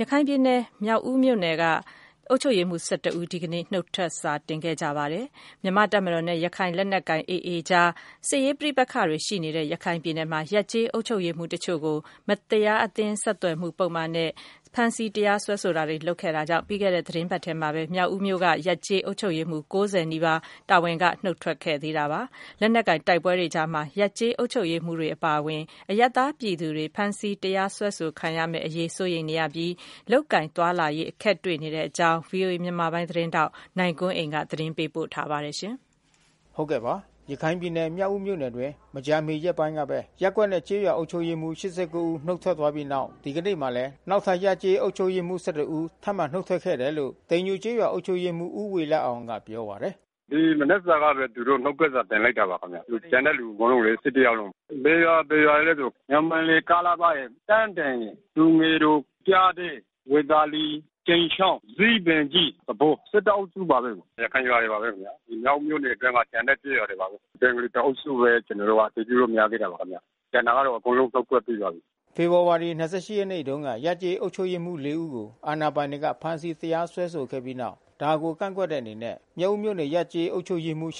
ရခိုင်ပြည်နယ် မြောက်ဦးမြို့နယ်က အုပ်ချုပ်ရေးမှူး ဦး ဒီကနေ့ နုတ်ထွက်စာ တင်လိုက်ပါတယ်။ မြန်မာ့တပ်မတော်နဲ့ ရခိုင်လက်နက်ကိုင် AA အကြား စစ်ရေး ပဋိပက္ခတွေ ရှိနေတဲ့ ရခိုင်ပြည်နယ်မှာ ရပ်-ကျေး အုပ်ချုပ်ရေးမှူး တချို့ကို မတရား အသင်း ဆက်သွယ်မှု ပုဒ်မနဲ့ ဖမ်းဆီး တရားစွဲဆိုတာတွေ လုပ်ခဲ့တာကြောင့် ပြီးခဲ့တဲ့ သီတင်းပတ်ထဲမှာပဲ မြောက်ဦးမြို့က ရပ်-ကျေး အုပ်ချုပ်ရေးမှူး ၉၀ နီးပါး တာဝန်က နုတ်ထွက်ခဲ့သေးတာပါ။ လက်နက်ကိုင် တိုက်ပွဲတွေကြားမှာ ရပ်ကျေးအုပ်ချုပ်ရေး မှူးတွေ အပါအဝင် အရပ်သားပြည်သူတွေ ဖမ်းဆီး တရားစွဲဆို ခံရမယ့်အရေး စိုးရိမ်နေရပြီး လုပ်ကိုင်သွားလာရေး အခက်တွေ့ နေတဲ့အကြောင်း ဗွီအိုအေမြန်မာပိုင်း သတင်းထောက် နိုင်ကွန်းအိန်က သတင်းပေး ပို့ထားပါတယ်။ ရခိုင်ပြည်နယ်၊ မြောက်ဦးမြို့နယ်အတွင်း မကြာမီရက်ပိုင်းကပဲ ရပ်ကွက်နဲ့ကျေးရွာ အုပ်ချုပ်ရေးမှူး ဦး နုတ်ထွက် သွားပြီးတဲ့နောက် ဒီကနေ့မှာလဲ နောက်ထပ် ရပ်ကျေးအုပ်ချုပ်ရေးမှူး ဦး ထပ်မံနုတ်ထွက်ခဲ့တယ်လို့ တိမ်ညိုကျေးရွာ အုပ်ချုပ်ရေးမှူး ဦးဝေလအောင်ကပြောပါတယ်။ “ဒီမနက်ကဘဲ သူတို့နုတ်ထွက်စာတင်လိုက်တာပါခင်ဗျ။ ကျန်တဲ့သူ အကုန်လုံးလေ ယောက်လုံး။ ဘယ်ရွာ ဘယ်ရွာ တွေလဲဆို ညောင်ပင်လယ် ၊ တန်းတင်ရယ်၊ သူငယ်တော်၊ ပျားတဲ၊ ဇီးပင်ကြီး၊ ဝေသာလီ၊ ကြိမ်ချောင်း သဘော အုပ်စုပါဘဲ။ ရခိုင်ရွာတွေပါဘဲ။ ဒီမြောက်ဦးမြို့နယ်ထဲမှာ ကျန်တဲ့ကျေးရွာတွေပါဘဲ။ ဘင်္ဂါလီတအုပ်စုဘဲ ကျွန် တော်တို့အတည်ပြုလို့ မရ သေးတာပါခင်ဗျ။ ကျန်တာကတော့ အကုန်လုံးနုတ်ထွက် ပြီးပါပြီ။” ဖေဖေါ်ဝါရီ ရက်နေ့တုန်းက ရပ်ကျေးအုပ်ချုပ်ရေးမှူး ၄ ဦးကို အာဏာပိုင်တွေက ဖမ်းဆီးတရားစွဲဆိုခဲ့ပြီးတဲ့နောက် ဒါကို ကန့်ကွက်တဲ့အနေနဲ့ မြောက်ဦးမြို့နယ်က ရပ်/ကျေး အုပ်ချုပ်ရေးမှူး ဦး